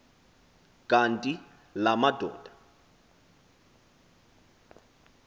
kanti la madoda